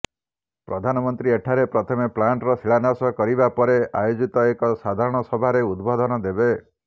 ପ୍ରଧାନମନ୍ତ୍ରୀ ଏଠାରେ ପ୍ରଥମେ ପ୍ଲାଣ୍ଟର ଶିଳାନ୍ୟାସ କରିବାପରେ ଆୟୋଜିତ ଏକ ସାଧାରଣ ସଭାରେ ଉଦବୋଧନ ଦେବେ